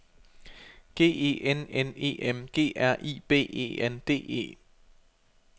G E N N E M G R I B E N D E